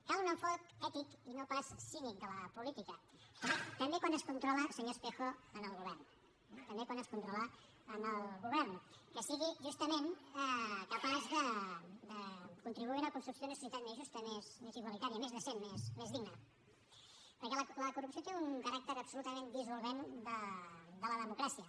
cal un enfocament ètic i no pas cínic de la política també quan es controla senyor espejo el govern eh també quan es controla el govern que sigui justament capaç de contribuir a una construcció d’una societat més justa més igualitària més decent més digna perquè la corrupció té un caràcter absolutament dissolvent de la democràcia